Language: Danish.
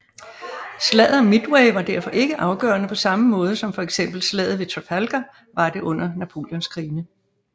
Slaget om Midway var derfor ikke afgørende på samme måde som for eksempel slaget ved Trafalgar var det under Napoleonskrigene